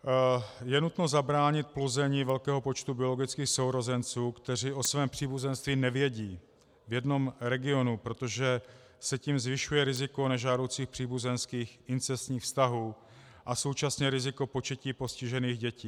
Je nutno zabránit plození velkého počtu biologických sourozenců, kteří o svém příbuzenství nevědí, v jednom regionu, protože se tím zvyšuje riziko nežádoucích příbuzenských incestních vztahů a současně riziko početí postižených dětí.